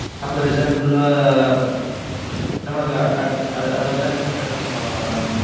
அப்ப, resort full ஆ, நமக்கு, அதை அதை அதை வந்து, accept பண்ணிக்குவாங்களா, mam